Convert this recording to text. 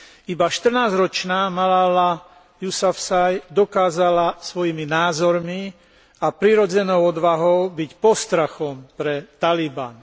Iba 14 ročná Malala Jusafzaj dokázala svojimi názormi a prirodzenou odvahou byť postrachom pre Taliban.